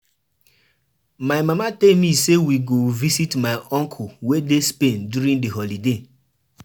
So wetin you dey talk now be say na for dis holiday your parents go celebrate their anniversary.